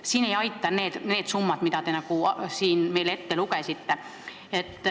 Siin ei aita need summad, mis te meile ette lugesite.